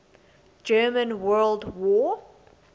german world war